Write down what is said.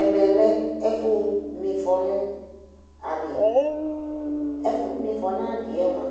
Ɛmɛ lɛ ɛfʋma ɩfɔ nʋ adɩ Ɛfʋma ɩfɔ nʋ adɩ yɛ mʋa,